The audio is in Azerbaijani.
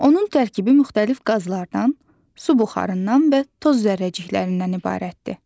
Onun tərkibi müxtəlif qazlardan, su buxarından və toz zərrəciklərindən ibarətdir.